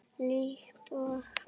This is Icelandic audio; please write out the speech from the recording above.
Líkt og